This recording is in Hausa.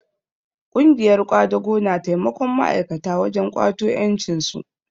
Ƙungiyar ƙwadago na taimakon ma'aikata wajen ƙwato ƴancinsu